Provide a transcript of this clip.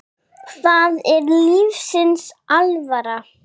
Það er lífsins alvara.